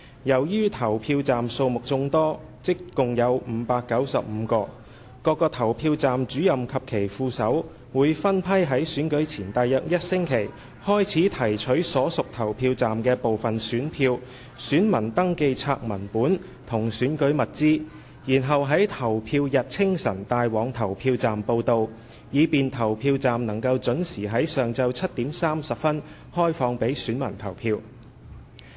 由於投票站數目眾多，即共有595個，各個投票站主任及其副手會分批於選舉前約1星期開始提取所屬投票站的部分選票、選民登記冊文本及選舉物資，然後在投票日清晨帶往投票站報到，以便投票站能準時於上午7時30分開放予選民投票。